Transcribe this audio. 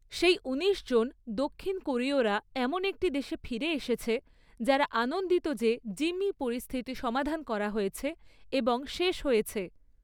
সেই উনিশজন দক্ষিণ কোরীয়রা এমন একটি দেশে ফিরে এসেছে যারা আনন্দিত যে জিম্মি পরিস্থিতি সমাধান করা হয়েছে এবং শেষ হয়েছে।